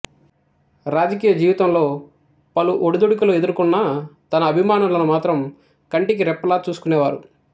రాజకీయ జీవితంలో పలు ఒడిదొడుకులు ఎదుర్కొన్న తన అభిమానులను మాత్రం కంటికి రెప్పలా చూసుకునేవారు